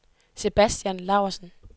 Sebastian Laursen